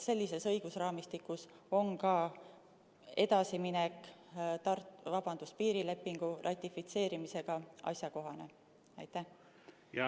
Sellises õigusraamistikus on ka piirilepingu ratifitseerimisega edasiminek asjakohane.